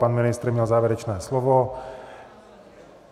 Pan ministr měl závěrečné slovo.